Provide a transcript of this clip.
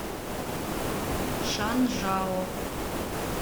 шанжао